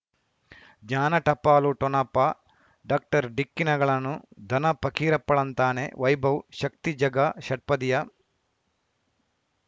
ಜ್ಞಾನ ಟಪಾಲು ಠೊಣಪ ಡಾಕ್ಟರ್ ಢಿಕ್ಕಿ ಣಗಳನು ಧನ ಫಕೀರಪ್ಪ ಳಂತಾನೆ ವೈಭವ್ ಶಕ್ತಿ ಝಗಾ ಷಟ್ಪದಿಯ